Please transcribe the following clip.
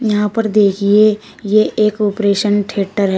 यहां पर देखिए ये एक ऑपरेशन थिएटर है।